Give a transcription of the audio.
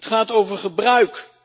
Het gaat over gebruik.